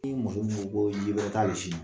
I muso min ko koo ji bɛrɛ t'ale sin na